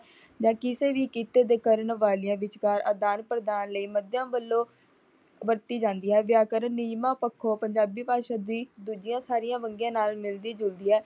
ਕਿਸੇ ਵੀ ਕਿੱਤੇ ਦੇ ਕਰਨ ਵਾਲੀਆਂ ਵਿਚਕਾਰ ਅਦਾਨ ਪ੍ਰਦਾਨ ਲਈ ਮਧਿਅਮ ਵੱਲੋਂ ਵਰਤੀ ਜਾਂਦੀ ਹੈ। ਵਿਆਕਰਨ ਨਿਯਮਾਂ ਪੱਖੋਂ ਪੰਜਾਬੀ ਭਾਸ਼ਾ ਦੀ ਦੂਜੀ ਸਾਰੀਆਂ ਵੰਨਗੀ ਨਾਲ ਮਿਲਦੀ ਜੁਲਦੀ ਹੈ।